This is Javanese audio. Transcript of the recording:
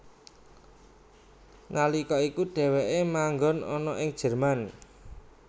Nalika iku dheweke manggon ana ing Jerman